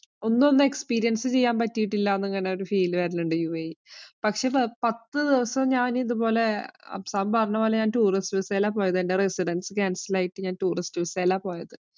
ഒന്നും ഒന്ന് experience ചെയ്യാന്‍ പറ്റിയിട്ടില്ല അങ്ങനെ ഒരു feel വരണുണ്ട് യുഎഇ ല്‍. പക്ഷേ, പത്തുദിവസം ഞാന്‍ ഇതുപോലെ അഫ്സാം പറഞ്ഞപോലെ ഞാന്‍ tourist visa യിലാ പോയത്. എന്‍റെ residence ആയിട്ട് ഞാന്‍ tourist visa യിലാ പോയത്.